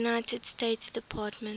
united states department